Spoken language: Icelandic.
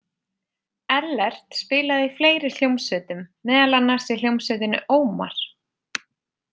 Ellert spilaði í fleiri hljómsveitum, meðal annars í hljómsveitinni Ómar.